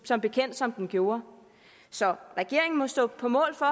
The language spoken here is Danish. som bekendt som den gjorde så regeringen må stå på mål for